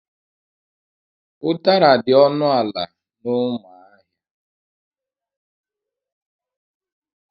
Udara dị ọnụ ala na Umuahia.